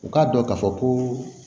U k'a dɔn k'a fɔ ko